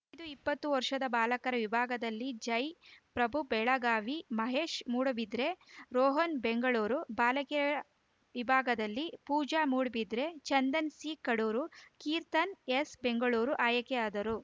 E ದು ಇಪ್ಪತ್ತು ವರ್ಷದ ಬಾಲಕರ ವಿಭಾಗದಲ್ಲಿ ಜೈ ಪ್ರಭು ಬೆಳಗಾವಿ ಮಹೇಶ್‌ ಮೂಡಬಿದರೆ ರೋಹನ್‌ ಬೆಂಗಳೂರು ಬಾಲಕಿಯರ ವಿಭಾಗದಲ್ಲಿ ಪೂಜಾ ಮೂಡಬಿದರೆ ಚಂದನಾ ಸಿಕಡೂರು ಕೀರ್ತನಾ ಎಸ್‌ ಬೆಂಗಳೂರು ಆಯ್ಕೆಯಾದರು